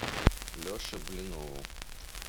леше блинову